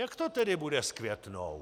Jak to tedy bude s Květnou?